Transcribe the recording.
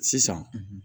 Sisan